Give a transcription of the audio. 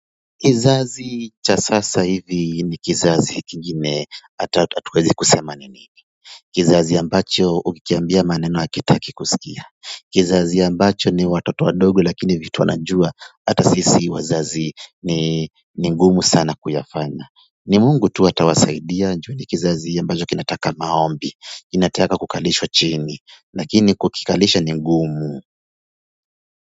Kizazi cha sasa hivi ni kizazi kingine hatuwezi kusema nini. Kizazi ambacho ukikambia maneno hakitaki kusikia. Kizazi ambacho ni watoto wadogo lakini vitu wanajua hata sisi wazazi ni ni ngumu sana kuyafanya. Ni Mungu tu atawasaidia ju ni kizazi ambacho kinataka maombi. Kinataka kukalishwa chini lakini kukikalisha ni ngumu.